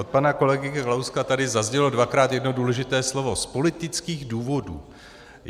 Od pana kolegy Kalouska tady zaznělo dvakrát jedno důležité slovo - z politických důvodů.